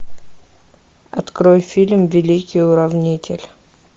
открой фильм великий уравнитель